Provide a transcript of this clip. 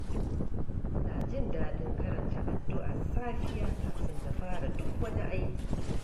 Ina jin daɗin karanta addu’ar safiya kafin na fara duk wani aiki.